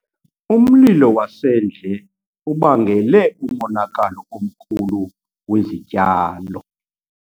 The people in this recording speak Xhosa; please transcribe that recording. Umlilo wasendle ubangele umonakalo omkhulu wezityalo.